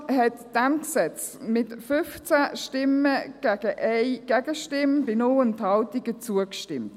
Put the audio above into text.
Die FiKo hat diesem Gesetz mit 15 Stimmen und 1 Gegenstimme bei 0 Enthaltungen zugestimmt.